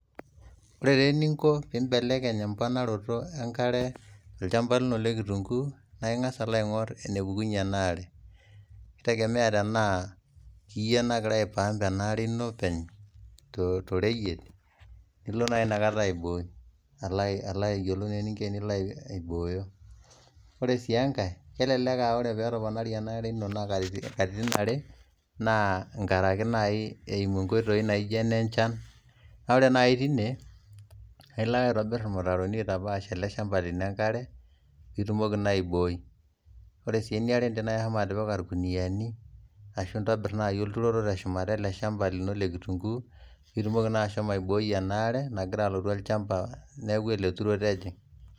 Ore taa eninko piimbelekeny empanaroto enkare te lchamba lino le nkitunguu naa ingas alo aing'orr enepukunye ena are, neitegemea tenaa iye nagira aipaamp anaare ino openy to iroyiet nilo naa inakata aibooyo, ore sii enkae elelek aaore pee etoponari anaare ino naa nkatitin are naa ngaraki naa eimu nkoitoi naijo ne nchan, naa ore naii teine naa ilo ake aitobirr irmitaroni oitapaash ale lshamba lino inkare piitumoki naai aibooi, ore sii enaere teneaku ishomo atipika lkuniani ashu intobirr nai olturoto te shumata e lchamba lino le nkitunguu piitumoki nai ashomo aibooii enaare nagira alotu olchamba neaku ale oturo taa ejing.